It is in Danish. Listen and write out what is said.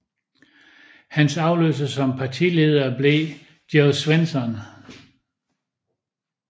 Hans afløser som partileder blev Jo Swinson